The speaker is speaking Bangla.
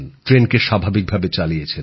ট্রেনকে স্বাভাবিকভাবে চালিয়েছেন